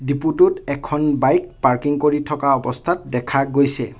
ডিপুটোত এখন bike parking কৰি থকা অৱস্থাত দেখা গৈছে।